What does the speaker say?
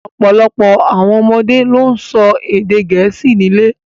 Ọ̀pọ̀lọpọ̀ àwọn ọmọdé ló ń sọ èdè Gẹ̀ẹ́sì nílé